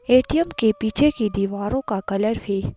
ATM के पीछे की दीवारों का कलर भी।